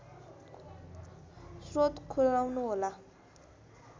स्रोत खुलाउनुहोला